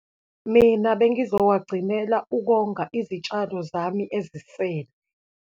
Mina, bengizowagcinela ukonga izitshalo zami ezisele.